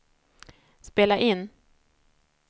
spela in